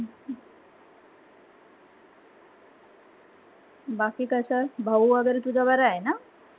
बाकी कसं भाऊ वगैरे तुझा बरा आहे ना?